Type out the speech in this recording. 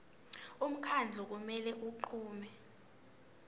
umkhandlu kumele unqume